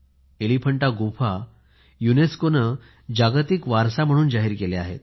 एलिफंटा गुहा युनेस्कोने जागतिक वारसा म्हणून जाहीर केले आहे